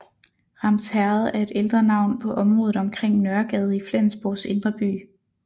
Ramsherred er et ældre navn på området omkring Nørregade i Flensborgs indre by